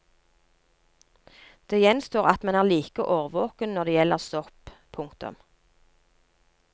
Det gjenstår at man er like årvåken når det gjelder sopp. punktum